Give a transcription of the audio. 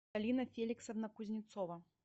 галина феликсовна кузнецова